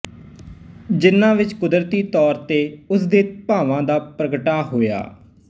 ਜਿੰਨਾ ਵਿੱਚ ਕੁਦਰਤੀ ਤੌਰ ਤੇ ਉਸ ਦੇ ਭਾਵਾਂ ਦਾ ਪ੍ਰਗਟਾ ਹੋਇਆ